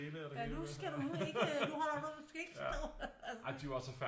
Ja nu skal du ikke nu holder du i vognen du skal ikke stå